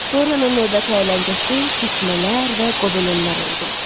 Dorianın növbəti əyləncəsi tikmələr və qobelenlər oldu.